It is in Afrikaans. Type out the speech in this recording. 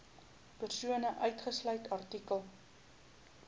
persone uitgesluit artikel